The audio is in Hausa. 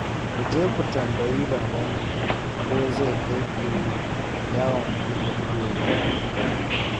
Ku je ku tambayi Babanku ko zai kai ku yawon buɗe ido bayan hutu